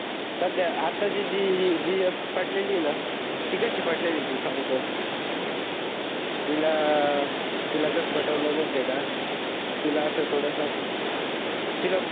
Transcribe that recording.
सदया आता ची जी एक पटलेली न ती कशी पटलेली तुला सांगतो, तिला तिला कसं पटवल महित आहे का? तिला असं थोडसं तिला